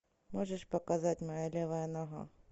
можешь показать моя левая нога